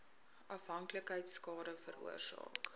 afhanklikheid skade veroorsaak